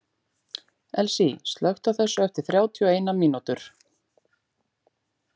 Elsie, slökktu á þessu eftir þrjátíu og eina mínútur.